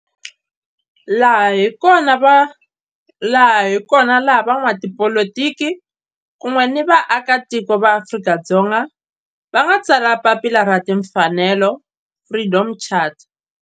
Laha hi kona la van'watipolitiki kun'we ni vaaka tiko va Afrika-Dzonga va nga tsala papila ra timfanelo, Freedom Charter.